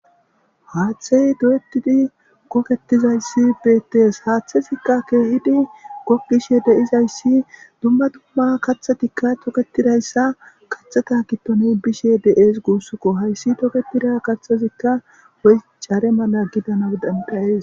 Haaththey do7etidi goketizayssi betees. Haaththezikka keehidi gokkishe de7izayssi dumma dumma kathatikka toketidayssa kathata gidoni bishe de7ees guussukko. Hayssi toketida kathazikka Woy caare mala gidano danda7ees.